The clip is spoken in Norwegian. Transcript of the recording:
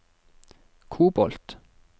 kobolt